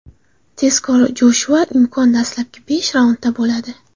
Tezkor Joshuada imkon dastlabki besh raundda bo‘ladi.